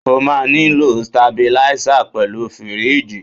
O máa nílò stabilízà pẹ̀lú fíríjì.